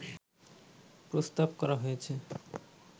প্রস্তাব করা হয়েছে